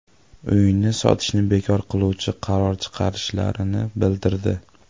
Uyni sotishni bekor qiluvchi qaror chiqarishlarini bildirdi.